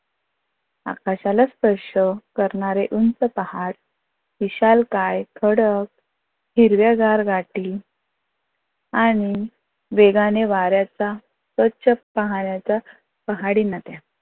आकाशाला स्पर्श करणारे उंच पहाड विशालकाय खडक हिरव्या गार गाठी आणि वेगाने वार्याचा परचक पाहण्याचा पहाडी नद्या.